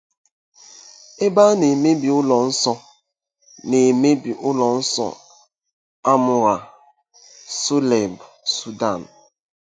Ebe a na-emebi ụlọ nsọ na-emebi ụlọ nsọ Amun-Ra, Soleb, Sudan